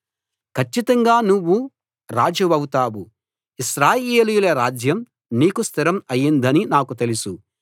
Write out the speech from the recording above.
కచ్చితంగా నువ్వు రాజువవుతావు ఇశ్రాయేలీయుల రాజ్యం నీకు స్థిరం అయిందని నాకు తెలుసు